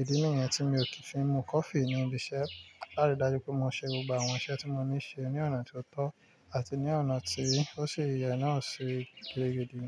Ìdí nìyẹn tí mi ò fi ń mú coffee ní ibi iṣẹ́. Lárí dájú pé mo ṣe gbogbo àwọn iṣẹ́ tí mo ní ṣe ní ọ̀nà tí ó tọ́ àti ní ọ̀nà tí ó sì yẹ náà ṣe gẹ́gẹ́ bí.